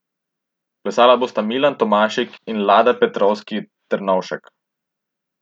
Plesala bosta Milan Tomašik in Lada Petrovski Ternovšek.